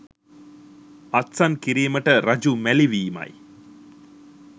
අත්සන් කිරීමට රජු මැළිවීමයි.